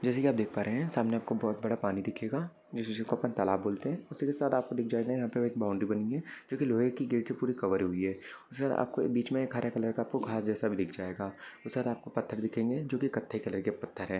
जैसे की आप देख पा रहे है सामने आपको बहुत बड़ा पानी दिखेगा जीसी चीज को अपन तालाब बोलते है। उसी के साथ आपको दिख जाएगा यहाँ पे एक बाउंडरी बनी हुई है। जो की लोहे की गेट से पूरी कवर हुई है उसके साथ आपको एक बिच मे एक हारा कलर का आपको घाँस जैसा भी दिख जाएगा उसके साथ आपको पत्थर दिखेंगे जो कत्थ कलर के पत्थर है।